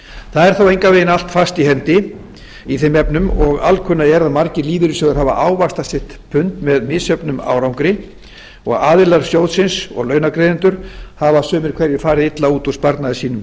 það er þó engan veginn allt fast í hendi í þeim efnum og alkunna er að margir lífeyrissjóðir hafa ávaxtað sitt pund með misjöfnum árangri og aðilar sjóðsins og launagreiðendur hafa sumir hverjir farið illa út úr sparnaði sínum